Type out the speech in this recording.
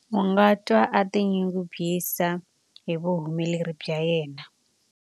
A nga twa a tinyungubyisa hi vuhumeleri bya yena.